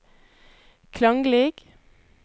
klanglig